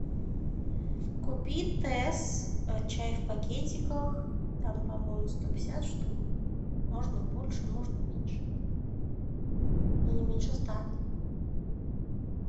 купи тесс чай в пакетиках там по моему сто пятьдесят штук можно больше можно меньше но не меньше ста